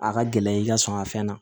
A ka gɛlɛn i ka sɔn ka fɛn na